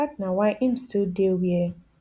dat na why im still dey wia